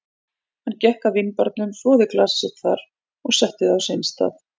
Hann gekk að vínbarnum, þvoði glasið sitt þar og setti það á sinn stað.